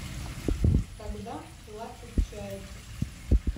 когда плачут чайки